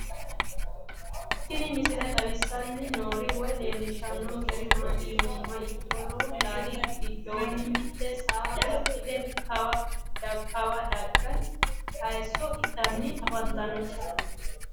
Tinni misile xawissanni noori woy leelishshannonkeri maatti yinummoha ikkiro lowo lali gidoonni mitte saa baxxitte kawaa dage hayiisso ittanni affanttanno